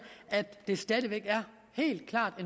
at det stadig væk helt klart